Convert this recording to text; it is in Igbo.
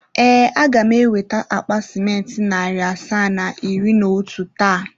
Ee, a ga m eweta akpa simenti narị asaa na iri na otu taa.